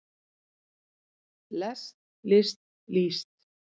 lest list líst